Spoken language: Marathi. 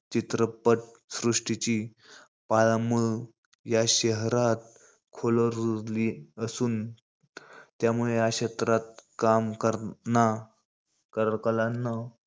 चित्रपट सृष्टीची पाळंमुळं या शहरात खोलवर रूजली असुन. त्यामुळे या क्षेत्रात काम करणा करकलांना,